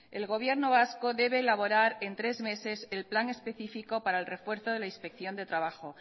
el gobierno vasco debe elaborar en tres meses el plan específico para el refuerzo de la inspección de trabajo